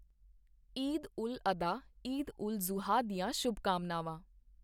ਈਦ ਉਲ ਅਧਹਾ ਈਦ ਉਲ ਜ਼ੁਹਾ ਦੀਆਂ ਸ਼ੁਭਕਾਮਨਾਵਾਂ।